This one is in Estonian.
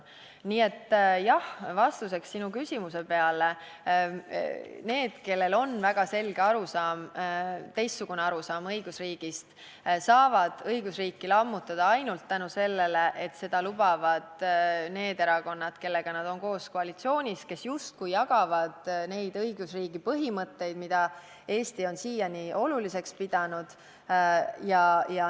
Nii et, jah, vastuseks sinu küsimusele: need, kellel on väga selge arusaam, teistsugune arusaam õigusriigist, saavad õigusriiki lammutada ainult seetõttu, et seda lubavad need erakonnad, kellega nad koos on koalitsioonis ja kes justkui jagavad neid õigusriigi põhimõtteid, mida Eesti on siiani oluliseks pidanud.